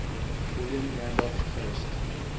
william randolph hearst